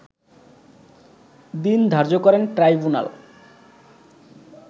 দিন ধার্য করেন ট্রাইবুনাল